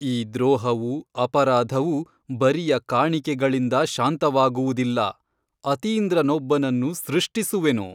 ಈ ದ್ರೋಹವು ಅಪರಾಧವು ಬರಿಯ ಕಾಣಿಕೆಗಳಿಂದ ಶಾಂತವಾಗುವುದಿಲ್ಲ ಅತೀಂದ್ರನೊಬ್ಬನನ್ನು ಸೃಷ್ಟಿಸುವೆನು.